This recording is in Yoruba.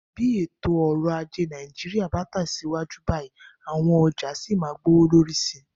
Bí ètò ọrọ̀ ajé Nàìjíríà bá tẹ̀síwájú báyìí, àwọn ọjà sì máa gbówó lórí sí i.